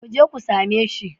Mu je ku same shi.